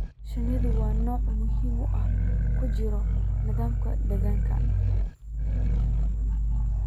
Shinnidu waa noole muhim ah oo ku jira nidaamka deegaanka.